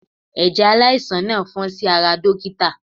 Ẹ̀jẹ̀ aláìsàn náà fọ́n sí ara uniform dókítà.